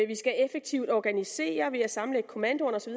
vi skal effektivt organisere ved at sammenlægge kommandoerne og så